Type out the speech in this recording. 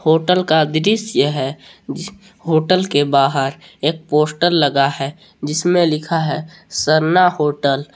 Hotel का दृश्य है होटल के बाहर एक पोस्टर लगा है जिसमें लिखा है सरना होटल ।